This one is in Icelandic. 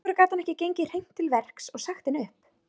Af hverju gat hann ekki gengið hreint til verks og sagt henni upp?